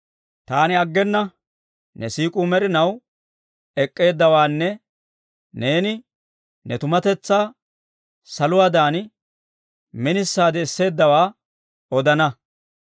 Taani aggena ne siik'uu med'inaw ek'k'eeddawaanne neeni ne tumatetsaa saluwaadan minisaade esseeddawaa odana.